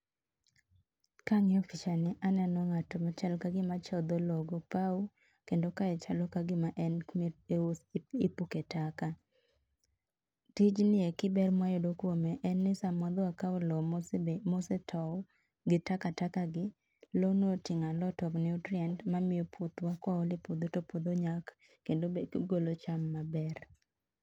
kangiyo pichani aneno ngato machal kagima chodho loo go pau kendo kae chalo kagima en kami puke taka tijni ni eki ber mwayudo kuom en ni samwakao loo mosetou gi takataka gi loo no otingo a lot of nutrients omiyo koole puodho to puodho nyak kendo ogolo cham maber